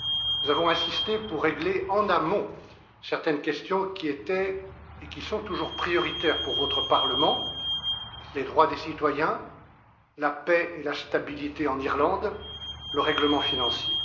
Nous avons insisté pour régler en amont certaines questions qui étaient et qui sont toujours prioritaires pour votre Parlement, à savoir les droits des citoyens, la paix et la stabilité en Irlande, et le règlement financier.